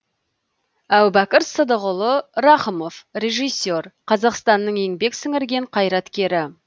әубәкір сыдықұлы рақымов режиссер қазақстанның еңбек сіңірген қайраткері